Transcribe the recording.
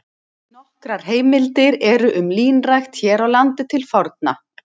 Nokkrar heimildir eru um línrækt hér á landi til forna.